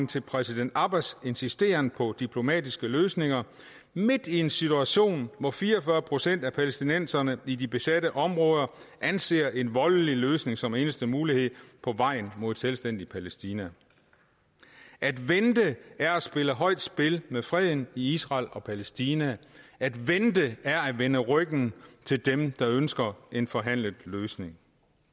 til præsident abbas insisteren på diplomatiske løsninger midt i en situation hvor fire og fyrre procent af palæstinenserne i de besatte områder anser en voldelig løsning som eneste mulighed på vejen mod et selvstændigt palæstina at vente er at spille højt spil med freden i israel og palæstina at vente er at vende ryggen til dem der ønsker en forhandlet løsning